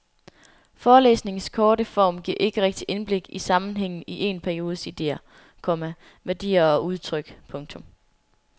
Forelæsningens korte form giver ikke rigtig indblik i sammenhængen i en periodes idéer, komma værdier og udtryk. punktum